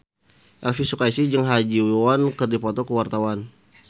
Elvy Sukaesih jeung Ha Ji Won keur dipoto ku wartawan